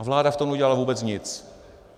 A vláda v tom neudělala vůbec nic.